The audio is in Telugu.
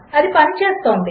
అది పనిచేస్తుంది